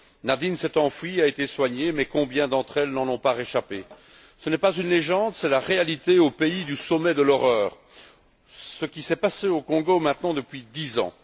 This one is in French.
Nadine s'est enfuie et a été soignée mais combien d'entre elles n'en ont pas réchappé? Ce n'est pas une légende, c'est la réalité au pays du sommet de l'horreur, c'est ce qu'il se passe au Congo depuis maintenant dix ans.